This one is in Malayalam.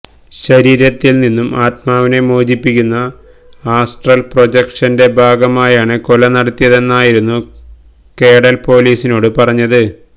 ശരീരത്തിൽ നിന്നും ആത്മാവിനെ മോചിപ്പിക്കുന്ന ആസ്ട്രൽ പ്രൊജക്ഷന്റെ ഭാഗമായാണ് കൊല നടത്തിയതെന്നായിരുന്നു കേഡൽ പോലീസിനോട് പറഞ്ഞത്